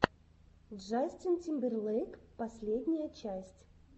джастин тимберлейк последняя часть